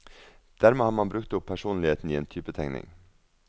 Dermed har man brukt opp personligheten i en typetegning.